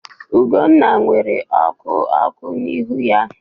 Ugwunna nwere oku oku n'ihu ya.